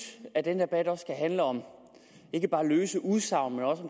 at denne debat ikke bare skal handle om løse udsagn men også